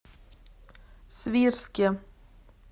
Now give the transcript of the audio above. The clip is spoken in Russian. свирске